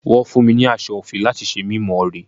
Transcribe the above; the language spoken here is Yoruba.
Wọ́n fún mi ní aṣọ òfì láti ṣe mí more.